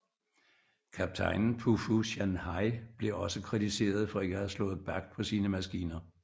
Kaptajnen på Fu Shan Hai blev også kritiseret for ikke at have slået bak på sine maskiner